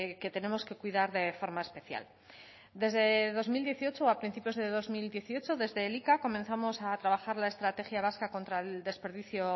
que tenemos que cuidar de forma especial desde dos mil dieciocho a principios de dos mil dieciocho desde elika comenzamos a trabajar la estrategia vasca contra el desperdicio